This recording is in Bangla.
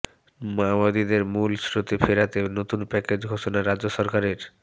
মাওবাদীদের মূল স্রোতে ফেরাতে নতুন প্যাকেজ ঘোষনা রাজ্য সরকারের